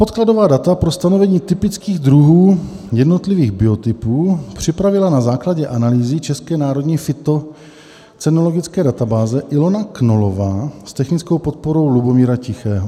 Podkladová data pro stanovení typických druhů jednotlivých biotypů připravila na základě analýzy České národní fytocenologické databáze Ilona Knollová s technickou podporou Lubomíra Tichého.